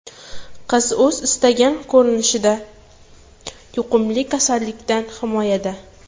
Qiz o‘zi istagan ko‘rinishda yuqumli kasallikdan himoyada.